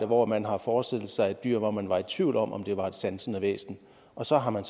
hvor man har forestillet sig et dyr hvor man var i tvivl om om det var et sansende væsen og så har man